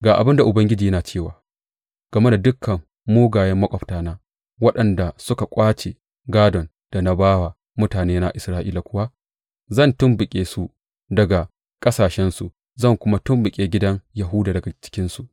Ga abin da Ubangiji yana cewa, Game da dukan mugayen maƙwabtana waɗanda suka ƙwace gādon da na ba wa mutanena Isra’ila kuwa, zan tumɓuke su daga ƙasashensu zan kuma tumɓuke gidan Yahuda daga cikinsu.